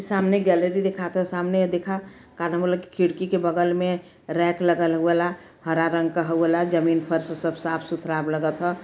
सामने गैलरी दिखात ह। सामने देखा का नाम होल की खिड़की के बगल में रैक लगल ह हउ आला हरा रंग क हउ आला । जमीन फर्श सब साफ सुथरा ब् लगत ह।